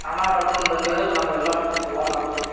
ಸ್ನಾನ ಮಾಡುಕೊಂಡ ಬಂದ್ವಿ ಅಂದ್ರೆ ನಮ್ ಎಲ್ಲ ಕೊಲೊನ್ ಆತ್ವಿ.